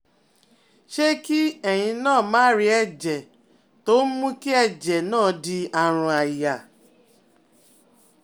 Ṣé kí ẹ̀yin náà máà rí ẹ̀jẹ̀ tó ń mú kí ẹ̀jẹ̀ náà di àrùn àyà?